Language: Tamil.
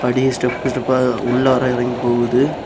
படியே ஸ்டெப் ஸ்டெப்பா உள்ளவரை இறங்கி போகுது.